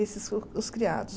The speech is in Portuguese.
Esses são os criados.